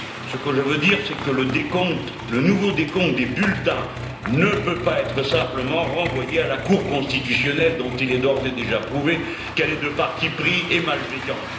Ce que je veux dire c'est que le décompte, le nouveau décompte des bulletins ne peut pas être simplement renvoyé à la Cour constitutionnelle, dont il est d'ores et déjà prouvé qu'elle est de parti pris et malveillante.